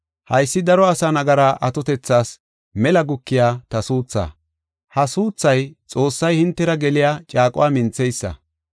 Haysi daro asa nagara atotethas mela gukiya ta suuthaa. Ha suuthay Xoossay hintera geliya caaquwa mintheysa.